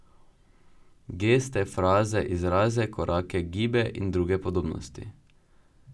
Geste, fraze, izraze, korake, gibe in druge podobnosti.